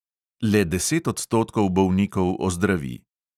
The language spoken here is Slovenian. Le deset odstotkov bolnikov ozdravi.